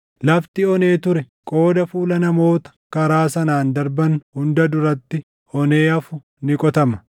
Lafti onee ture qooda fuula namoota karaa sanaan darban hunda duratti onee hafu ni qotama.